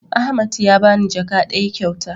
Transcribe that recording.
Ahmad ya bani jaka ɗaya kyauta